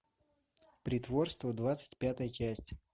притворство двадцать пятая часть